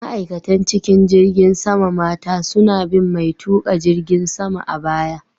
Ma'aikatan cikin jirgin sama mata suna bin mai tuƙa jirgin sama a baya.